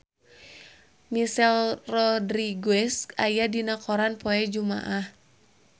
Michelle Rodriguez aya dina koran poe Jumaah